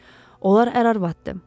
Onlar ərvaddır.